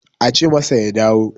ace masa ya dawo